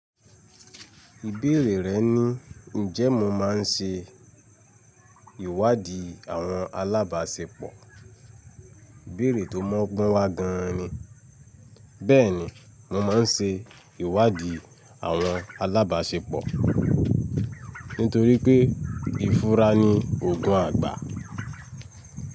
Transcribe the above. Ìbéèrè rẹ̀ ni: Ǹjẹ́ mo máa ń ṣe ìwádìí àwọn alábáṣepọ̀? Ìbéèrè tó mọ́gbọ́n wa gan ni. Bẹ́ẹ̀ ni, mo máa ń ṣe ìwádìí àwọn alábaṣepọ̀ nítorí pé ìfura ni òògùn àgbà.